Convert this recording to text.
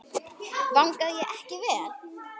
Vangaði ég ekki vel?